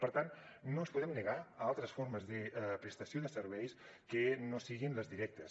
per tant no ens podem negar a altres formes de prestació de serveis que no siguin les directes